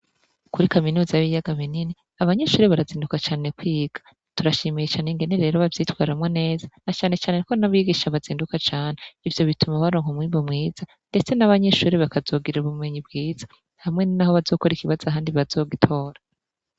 Kuri kaminuza y'biyaga bi nini abanyishure barazinduka cane kwiga turashimiye cane ngeni rero bavyitwaramwo neza na canecane ko nabigisha abazinduka cane ivyo bituma baronka mwimbo mwiza, ndetse n'abanyishuri bakazogira ubumenyi bwiza hamwe naho bazokora ikibaza handi bazogitora.